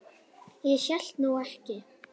Ég hélt nú ekki.